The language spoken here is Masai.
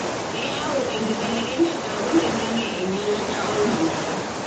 keyau enkibelekenyat aoloingange enyialata olmanyara.